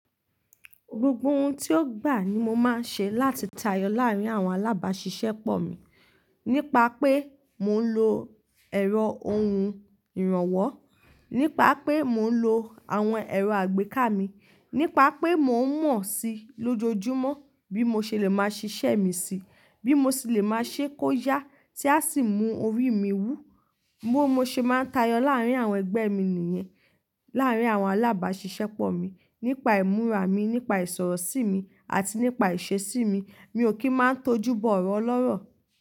Gbogbo ohun tí ó gbà ní mo máa ń ṣe láti tayọ láàrin àwọn alábàáṣiṣẹ́pọ̀ mi nípa pé mò ń lo ẹ̀rọ ohun ìrànwọ́, nípa pé mò ń lo àwọn ẹ̀rọ àgbéká mi, nípa pé mò ń mọ̀ sí lójoojúmọ́ bí mo ṣe lè máa ṣiṣẹ́ mi síi, bí mo ṣe lè máa ṣe kó yá tí a sì mú orí mi wú. Bí mo ṣe máa ń tayọ láàrín àwọn ẹgbẹ́ mi nìyẹn, láàrin àwọn alábáàṣìṣẹ́pọ̀ mi nípa ìmúra mi, nípa ìsọ̀rọ̀ sí mi àti nípa ìṣe sí mi. Mi ò kí ń máa tó júbọ ọ̀rọ̀ ọlọ́rọ̀.